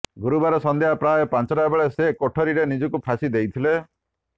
ଗୁରୁବାର ସନ୍ଧ୍ୟା ପ୍ରାୟ ପାଞ୍ଚଟା ବେଳେ ସେ କୋଠରୀରେ ନିଜକୁ ଫାଶୀ ଦେଇଥିଲେ